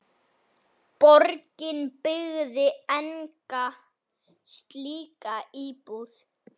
Borgin byggði enga slíka íbúð.